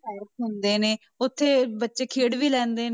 Park ਹੁੰਦੇ ਨੇ ਉੱਥੇ ਬੱਚੇ ਖੇਡ ਵੀ ਲੈਂਦੇ ਨੇ